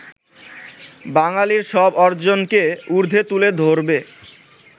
বাঙালির সব অর্জনকে উর্দ্ধে তুলে ধরবে